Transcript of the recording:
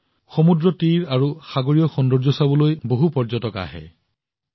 বহুসংখ্যক মানুহ আছে যিয়ে সমুদ্ৰ তীৰ আৰু সাগৰৰ সৌন্দৰ্য চাবলৈ আহে